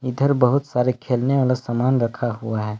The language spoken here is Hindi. इधर बहुत सारे खेलने वाला समान रखा हुआ है।